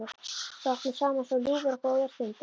Við áttum saman svo ljúfar og góðar stundir.